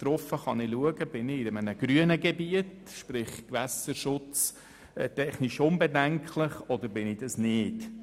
Darauf kann ich sehen, ob ich mich in einem grünen, vom Gewässerschutz her unbedenklichen Gebiet befinde oder nicht.